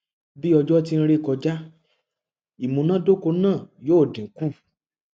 bi ojo ti n re kọja imunadoko naa yoo dinku